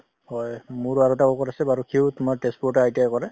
হয়। মোৰ আৰু এটা আছে বাৰু সিও তোমাৰ তেজপুৰতে ITI কৰে ।